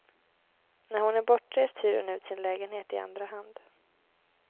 När hon är bortrest hyr hon ut sin lägenhet i andra hand.